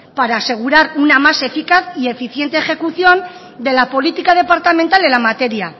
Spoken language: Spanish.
para asegurar una más eficaz y eficiente ejecución de la política departamental en la materia